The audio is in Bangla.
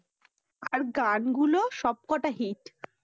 আর গানগুলো সবকটা hit